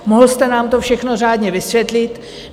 Mohl jste nám to všechno řádně vysvětlit.